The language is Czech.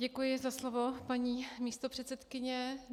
Děkuji za slovo, paní místopředsedkyně.